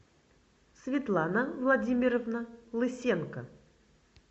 светлана владимировна лысенко